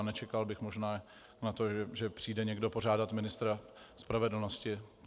A nečekal bych možná na to, že přijde někdo požádat ministra spravedlnosti.